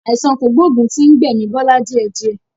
Àìsàn kògbógùn tí ń gbẹ̀mi Bọlá díẹ̀ díẹ̀.